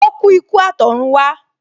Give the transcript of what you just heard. O ku ikú atorunwa